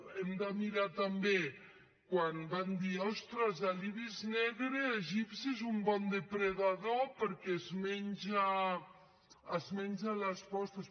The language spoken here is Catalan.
hem de mirar també quan vam dir ostres l’ibis negre egipci és un bon depredador perquè es menja les postes